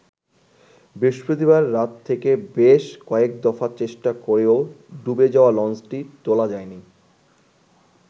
বৃহস্পতিবার রাত থেকে বেশ কয়েক দফা চেষ্টা করেও ডুবে যাওয়া লঞ্চটি তোলা যায়নি।